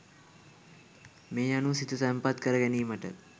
මේ අනුව සිත තැන්පත් කරගැනීමට